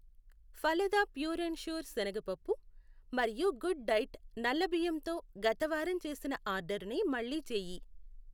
Phalada pure and sure సెనగ పప్పు, మరియు గుడ్ డైట్ నల్ల బియ్యం తో గత వారం చేసిన ఆర్డరుర్నే మళ్ళీ చేయి.